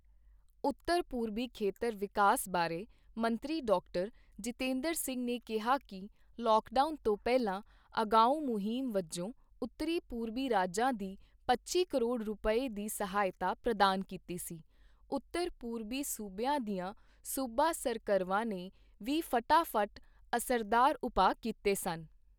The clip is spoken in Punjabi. ਉੱਤਰ ਪੂਰਬੀ ਖੇਤਰ ਵਿਕਾਸ ਬਾਰੇ ਮੰਤਰੀ ਡਾਕਟਰ ਜਤਿੰਦਰ ਸਿੰਘ ਨੇ ਕਿਹਾ ਕਿ, ਲਾਕਡਾਊਨ ਤੋਂ ਪਹਿਲਾਂ ਅਗਾਊ਼਼ਂ ਮੁਹਿੰਮ ਵਜੋਂ ਉੱਤਰੀ ਪੂਰਬੀ ਰਾਜਾਂ ਦੀ ਪੱਚੀ ਕਰੋੜ ਰੁਪਏ, ਦੀ ਸਹਾਇਤਾ ਪ੍ਰਦਾਨ ਕੀਤੀ ਸੀ, ਉੱਤਰ ਪੂਰਬੀ ਸੂਬਿਆਂ ਦੀਆਂ ਸੂਬਾ ਸਰਕਰਵਾਂ ਨੇ ਵੀ ਫਟਾ ਫੱਟ ਅਸਰਦਾਰ ਉਪਾਅ ਕੀਤੇ ਸਨ।